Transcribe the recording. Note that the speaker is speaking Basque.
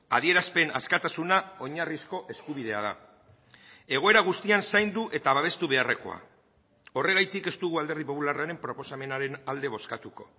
adierazpen askatasuna oinarrizko eskubidea da egoera guztian zaindu eta babestu beharrekoa horregatik ez dugu alderdi popularraren proposamenaren alde bozkatuko